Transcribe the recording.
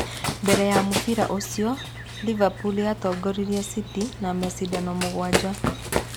Mbere ya mũbira ũcio, Liverpool yatongoretie City na macindano mũgwanja.